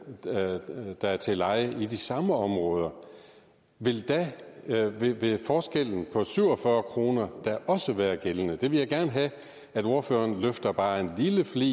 der er til leje i de samme områder vil forskellen på syv og fyrre kroner da også være gældende det vil jeg gerne have at ordføreren løfter bare en lille flig